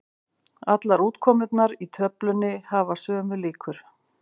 Allar útkomurnar í töflunni hafa sömu líkur.